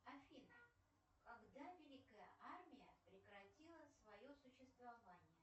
афина когда великая армия прекратила свое существование